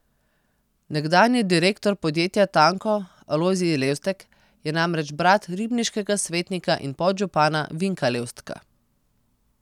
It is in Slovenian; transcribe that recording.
Nekdanji direktor podjetja Tanko Alojzij Levstek je namreč brat ribniškega svetnika in podžupana Vinka Levstka.